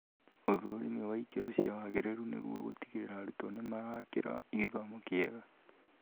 ũthũrimi wa ikĩro cia wagĩrĩru nĩguo gũtigĩrĩra arutwo nĩmarakĩra gĩthomo kĩega